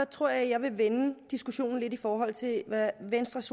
tror jeg vil vende diskussionen lidt i forhold til hvad venstres